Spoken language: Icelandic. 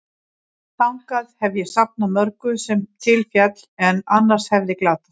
Þangað hef ég safnað mörgu, sem til féll, en annars hefði glatast.